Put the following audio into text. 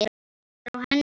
Kveikir í henni.